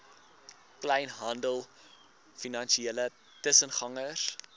kleinhandel finansiële tussengangers